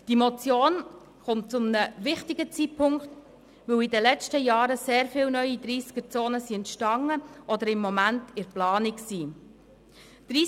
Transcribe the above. Die Motion kommt zu einem wichtigen Zeitpunkt, weil in den letzten Jahren sehr viele neue Tempo-30-Zonen entstanden sind oder im Moment in Planung sind.